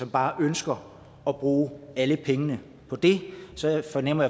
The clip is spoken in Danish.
bare ønsker at bruge alle pengene på det så jeg fornemmer